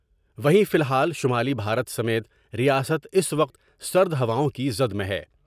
وہیں فی الحال شمالی بھارت سمیت ریاست اس وقت سرد ہواؤں کی زد میں ہے ۔